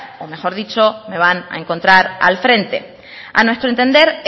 o mejor dicho me van a encontrar al frente a nuestro entender